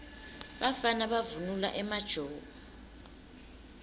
bafana bavunula emajobo